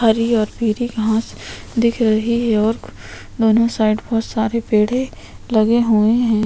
हरी और पिली घास दिख रही है और दोनों साइड में सारे पेड़े लगे हुए है।